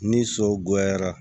Ni so goyara